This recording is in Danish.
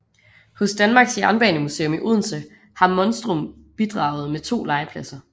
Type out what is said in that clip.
Hos Danmarks Jernbanemuseum i Odense har Monstrum bidraget med to legepladser